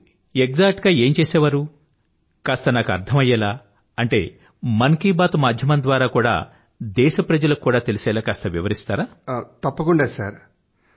మీరు ఎగ్జాక్ట్ గా ఏం చేసేవారు కాస్త నాకు అర్థం అయ్యేలా మన్ కీ బాత్ మాధ్యమం ద్వారా దేశప్రజలకు కూడా తెలిసేలా వివరించండి